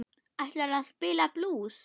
Ætlarðu að spila blús?